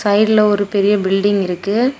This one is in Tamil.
சைடுல ஒரு பெரிய பில்டிங் இருக்கு.